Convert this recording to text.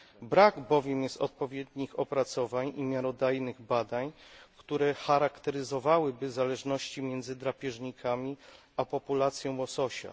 Brak bowiem jest odpowiednich opracowań i miarodajnych badań, które charakteryzowałyby zależności między drapieżnikami a populacją łososia.